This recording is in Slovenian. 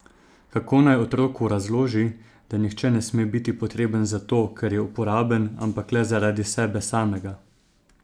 Kako naj otroku razloži, da nihče ne sme biti potreben zato, ker je uporaben, ampak le zaradi sebe samega?